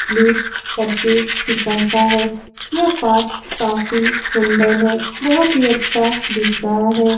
Lake करके फिसलता है यह पार्क काफी सुंदर है बहुत ही अच्छा दिख रहा है।